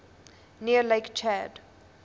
near lake chad